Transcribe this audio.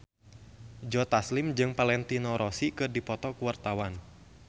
Joe Taslim jeung Valentino Rossi keur dipoto ku wartawan